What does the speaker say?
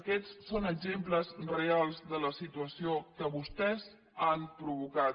aquests són exemples reals de la situació que vostès han provocat